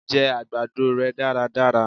jẹ àgbàdo rẹ daradara!